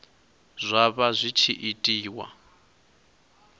zwa vha zwi tshi itiwa